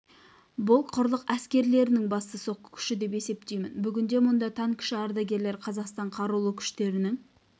бұл құрлық әскерлерінің басты соққы күші деп есептеймін бүгінде мұнда танкіші ардагерлер қазақстан қарулы күштерінің